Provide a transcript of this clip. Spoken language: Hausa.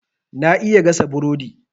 Na iya gasa burodi.